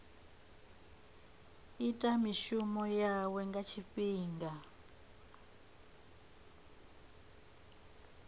ita mishumo yawe nga tshifhinga